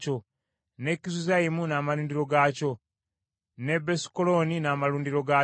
ne Kizuzaimu n’amalundiro gaakyo ne Besukolooni n’amalundiro gaakyo,